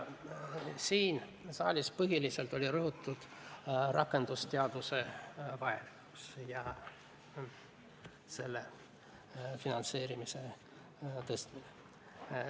Siin saalis on põhiliselt rõhutatud rakendusteaduse vajalikkust ja selle finantseerimise tõstmist.